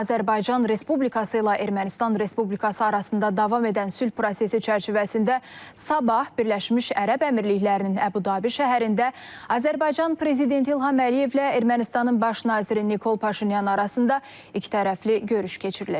Azərbaycan Respublikası ilə Ermənistan Respublikası arasında davam edən sülh prosesi çərçivəsində sabah Birləşmiş Ərəb Əmirliklərinin Əbu-Dabi şəhərində Azərbaycan prezidenti İlham Əliyevlə Ermənistanın baş naziri Nikol Paşinyan arasında ikitərəfli görüş keçiriləcək.